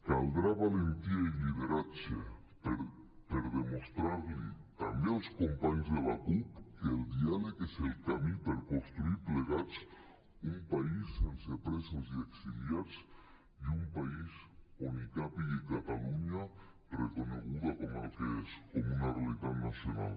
caldrà valentia i lideratge per demostrar los també als companys de la cup que el diàleg és el camí per construir plegats un país sense presos i exiliats i un país on hi càpiga catalunya reconeguda com el que és com una realitat nacional